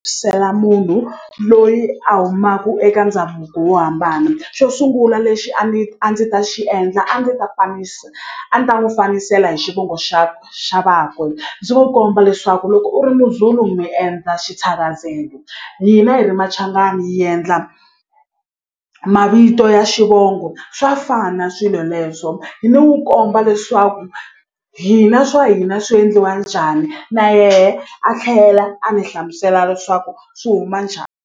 munhu loyi a humaku eka ndhavuko wo hambana xo sungula lexi a ni a ndzi ta xi endla a ni ta fanisa a ni ta n'wi fambisela hi xivongo xa xa vakwe ndzi n'wu komba leswaku loko u ri Muzulu mi endla hina hi ri Machangani hi endla mavito ya xivongo swa fana swilo leswo hi ni n'wu komba leswaku hina swa hina swi endliwa njhani na yehe a tlhela a ni hlamusela leswaku swi huma .